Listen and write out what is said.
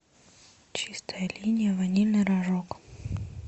чистая линия ванильный рожок